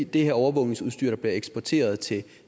det her overvågningsudstyr der bliver eksporteret til